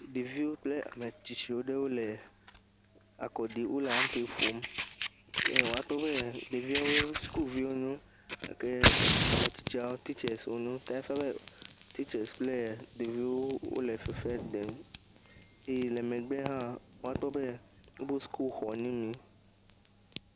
Ɖeviwo kple ame tsitsi wo ɖewo le kɔ ɖim le ampe ƒom eye wòakpɔ be ɖeviawe sukuviwoe wonye, ke ame tsitsiawo titsesi wonye ta efia be, titse kple ɖeviwo wole fefe ɖem, eye le megbe la, akpɔ be wobɔ sukuẽxɔ dzi yim